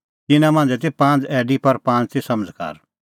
तिन्नां मांझ़ै ती पांज़ ऐडी पर पांज़ ती समझ़कार